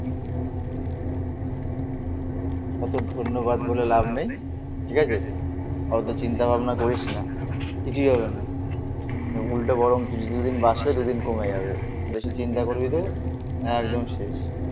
অত ধন্যবাদ বলে লাভ নেই. ঠিক আছে. হয়তো চিন্তা ভাবনা করিস না কিছুই হবে না উল্টো গরম কিছুদিন বাঁচবে দুদিন কমে যাবে. বেশি চিন্তা করবি তুই একদম শেষ।